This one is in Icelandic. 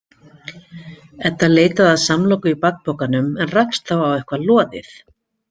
Edda leitaði að samloku í bakpokanum en rakst þá á eitthvað loðið.